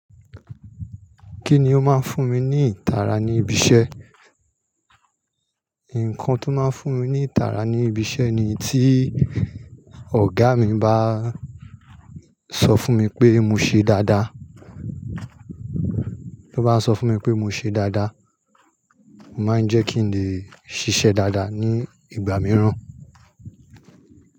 Kí ni ó máa ń fún mi ní ìtara ní ibi iṣẹ́? Nǹkan tó máa ń fún mi ní ìtara ní ibi iṣẹ́ ni tí ọ̀gá mi bá sọ fún mi pé mo ṣe dáadáa. To bá sọ fún mi pé mo ṣe dáadáa, ó máa ń jẹ́ kí n lè ṣiṣẹ́ dáadáa ní ìgbà mìíràn.